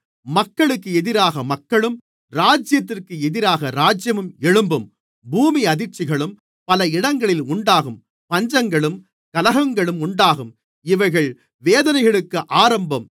மக்களுக்கு எதிராக மக்களும் ராஜ்யத்திற்கு எதிராக ராஜ்யமும் எழும்பும் பூமி அதிர்ச்சிகளும் பல இடங்களில் உண்டாகும் பஞ்சங்களும் கலகங்களும் உண்டாகும் இவைகள் வேதனைகளுக்கு ஆரம்பம்